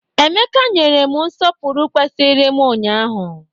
Emeka nyere m nsọpụrụ kwesiri m ụnyaahụ.